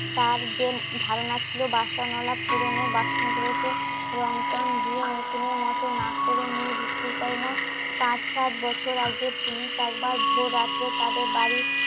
তার যে ধারণা ছিল বাসন আলাপ পুরনো বাসন গুলোকে রং চাং দিয়ে নতুন এর মতো না করে নিয়ে বিক্রি করেনা